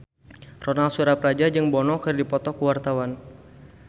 Ronal Surapradja jeung Bono keur dipoto ku wartawan